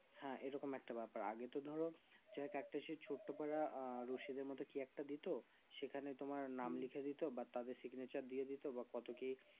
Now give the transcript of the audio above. হ্যাঁ এরকম একটা ব্যাপার আগে তো ধরো ছোট পারা আঃ রশিদের মতো কি একটা দিতো সেখানে তোমার নাম লিখে দিতো বা তাদের Signature দিয়েদিত বা কত কি